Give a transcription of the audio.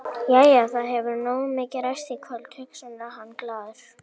Jæja, það hefur nógu mikið ræst í kvöld, hugsar hann glaður.